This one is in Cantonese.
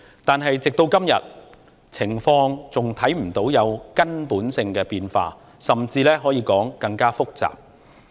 然而，直至今天，情況還看不到有根本的變化，甚至可以說是更複雜。